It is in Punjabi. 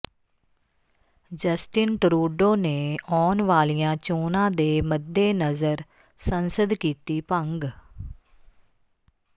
ਜਸਟਿਨ ਟਰੂਡੋ ਨੇ ਆਉਣ ਵਾਲੀਆਂ ਚੋਣਾਂ ਦੇ ਮੱਦੇਨਜ਼ਰ ਸੰਸਦ ਕੀਤੀ ਭੰਗ